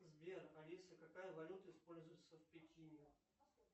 сбер алиса какая валюта используется в пекине